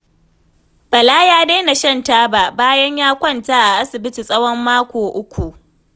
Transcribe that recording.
Bala ya daina shan taba, bayan ya kwanta a asibiti tsawon mako uku.